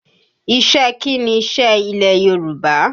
Iṣẹ́ kí ni iṣẹ́ ilẹ̀ Yorùbá?